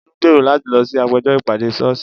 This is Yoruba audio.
Olú ń gbèrò láti lọ sí àpéjọ ìpàdé sọ́ọ́sì.